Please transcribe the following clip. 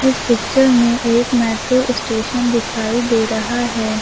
इस पिक्चर में एक मेट्रो स्टेशन दिखाई दे रहा है।